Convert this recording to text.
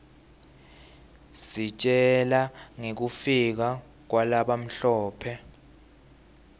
isitjela ngekufika kwalabamhlope